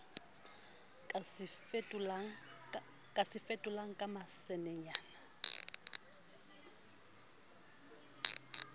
ka se fetolang ka masenenyana